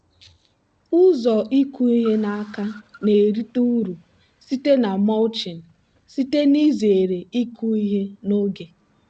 ụzọ ịkụ ihe n'aka na-erite uru site na mulching site n'izere ịkụ ihe n'oge.